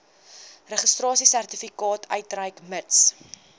registrasiesertifikaat uitreik mits